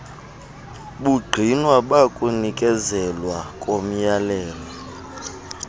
bungqina bakunikezelwa komyalelo